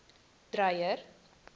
dreyer